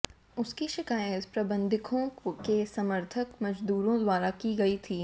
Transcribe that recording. उसकी शिकायत प्रबंधकों के समर्थक मजदूरों द्वारा की गई थी